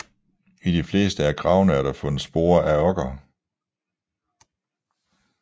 I de fleste af gravene er der fundet spor af okker